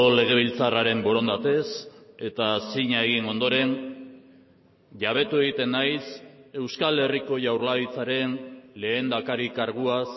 legebiltzarraren borondatez eta zina egin ondoren jabetu egiten naiz euskal herriko jaurlaritzaren lehendakari karguaz